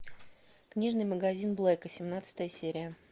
книжный магазин блэка семнадцатая серия